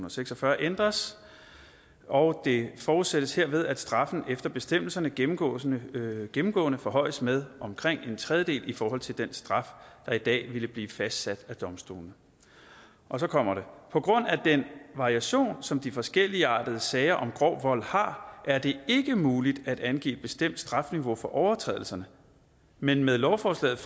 og seks og fyrre ændres og det forudsættes herved at straffen efter bestemmelserne gennemgående gennemgående forhøjes med omkring en tredjedel i forhold til den straf der i dag ville blive fastsat af domstolene og så kommer det på grund af den variation som de forskelligartede sager om grov vold har er det ikke muligt at angive et bestemt strafniveau for overtrædelserne men med lovforslaget